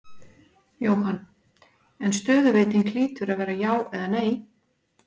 Jóhann: En stöðuveiting hlýtur að vera já eða nei?